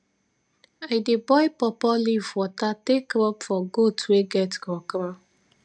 i dey boil pawpaw leaf water take rub for goat wey get kro kro